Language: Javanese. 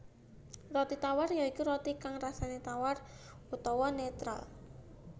Roti tawar ya iku roti kang rasané tawar utawa netral